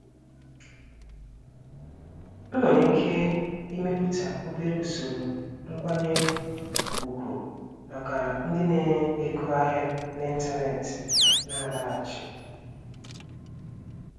Ị nwèrè iké imépùta obere ùsòrò nkwányé ùgwù màkà ndị na ego ahịa n'ịntanetị na-àlaghàchi.